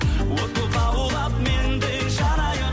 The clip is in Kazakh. от боп лаулап мен де жанайын